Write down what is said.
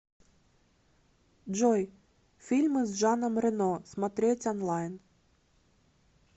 джой фильмы с жаном рено смотреть онлайн